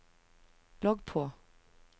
logg på